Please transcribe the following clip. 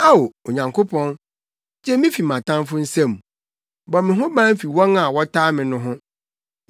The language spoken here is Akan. Ao, Onyankopɔn, gye me fi mʼatamfo nsam; bɔ me ho ban fi wɔn a wɔtaa me no ho.